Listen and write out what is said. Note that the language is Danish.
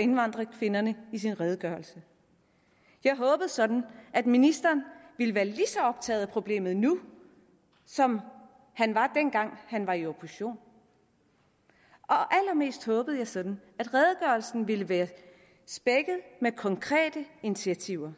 indvandrerkvinderne i sin redegørelse jeg håbede sådan at ministeren ville være lige så optaget af problemet nu som han var dengang han var i opposition og allermest håbede jeg sådan at redegørelsen ville være spækket med konkrete initiativer